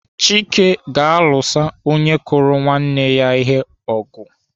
Chike ga-alụsa onye kụrụ nwanne ya ihe ọgụ.